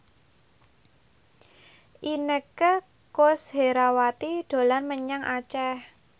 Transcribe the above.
Inneke Koesherawati dolan menyang Aceh